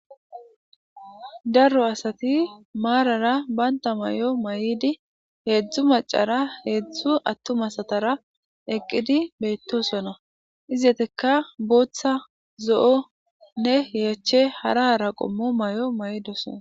daro asati maarara baynta may7o may7idi heedzdzu macara heedzdzu attumasatara eqqidi beyttosona izetekka booththa zo7onne yeeche haraara qommo may7o may7idosona